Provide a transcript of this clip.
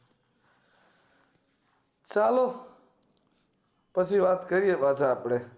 ચાલો પછી વાત કરીયે પછી વાત કરીયે પાછા આપડે